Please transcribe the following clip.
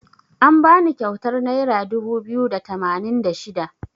An bani kyautar naira dubu biyu da tamanin da shida.